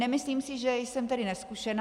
Nemyslím si, že jsem tedy nezkušená.